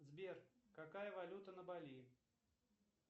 сбер какая валюта на бали